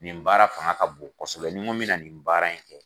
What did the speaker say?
Nin baara fanga ka bon kosɛbɛ nin ko n bɛna nin baara in kɛ